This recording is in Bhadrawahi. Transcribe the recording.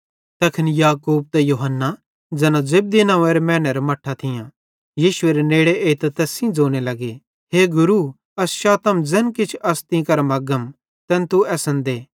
तैखन याकूब त यूहन्ना ज़ैना जब्दी नंव्वेरे मैनेरां मट्ठां थियां यीशुएरे नेड़े एइतां तैस सेइं ज़ोने लग्गे हे गुरू अस चातम कि ज़ैन किछ अस तीं केरां मग्गम तैन तू असन देइयथ